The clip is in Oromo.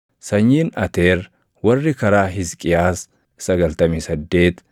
sanyiin Ateer warri karaa Hisqiyaas 98,